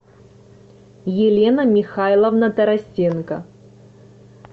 елена михайловна тарасенко